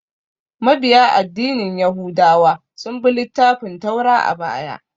Mabiya addinin yahudawa sun bi littafin Taura a baya